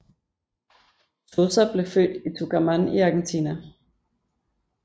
Sosa blev født i Tucumán i Argentina